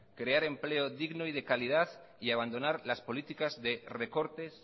crear empleo digno y de calidad y abandonar las políticas de recortes